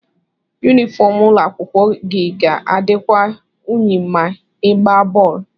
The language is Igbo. yunifọm ụlọ akwụkwọ gị ga-adịkwa unyi ma ị ịgbaa bọọlụ